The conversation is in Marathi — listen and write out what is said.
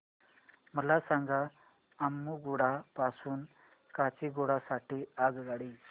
मला सांगा अम्मुगुडा पासून काचीगुडा साठी आगगाडी